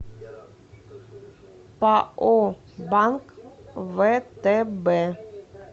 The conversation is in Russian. пао банк втб